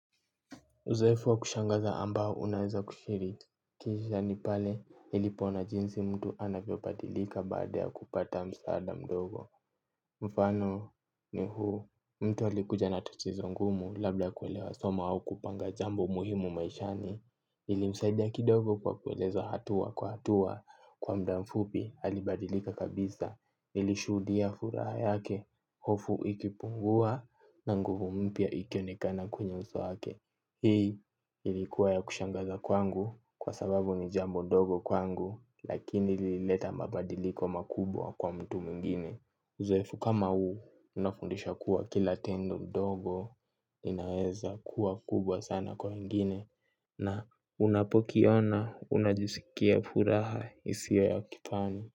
Uzoefu wa kushangaza ambao unaweza kushirikisha ni pale nilipoona jinsi mtu anapobadilika baada ya kupata msaada mdogo mfano ni huu mtu alikuja na tatizo ngumu labda kuelewa somo au kupanga jambo muhimu maishani ilimsaidia kidogo kwa kueleza hatua kwa hatua kwa muda mfupi alibadilika kabisa nilishuhudia furaha yake hofu ikipungua na nguvu mpya ikionekana kwenye uso wake. Hii ilikuwa ya kushangaza kwangu kwa sababu ni jambo ndogo kwangu lakini lilileta mabadiliko makubwa kwa mtu mwingine. Uzoefu kama huu unafundisha kuwa kila tendo ndogo linaweza kuwa kubwa sana kwa wengine na unapokiona unajisikia furaha isiyo ya kifani.